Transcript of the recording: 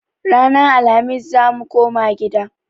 Ranan Alhamis zamu koma gida